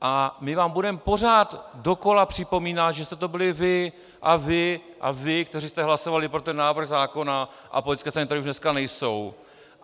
A my vám budeme pořád dokola připomínat, že jste to byli vy a vy a vy, kteří jste hlasovali pro ten návrh zákona, a politické strany, které už dneska nejsou.